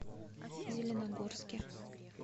зеленогорске